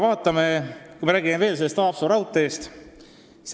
Räägime veel Haapsalu raudteest.